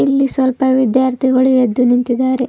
ಇಲ್ಲಿ ಸ್ವಲ್ಪ ವಿದ್ಯಾರ್ಥಿಗಳು ಎದ್ದು ನಿಂತಿದಾರೆ.